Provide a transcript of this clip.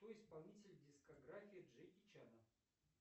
кто исполнитель дискографии джеки чана